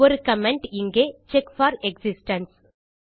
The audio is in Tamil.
ஒரு கமெண்ட் இங்கே செக் போர் எக்ஸிஸ்டென்ஸ்